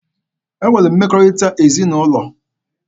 E nwere mmekọrịta ezinaụlọ.